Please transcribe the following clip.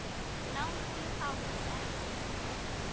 Lánsfé fáist ekki.